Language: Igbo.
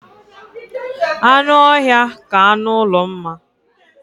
Anụ ọhịa ka anụ ụlọ mma